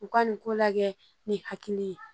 U ka nin ko la kɛ ni hakili ye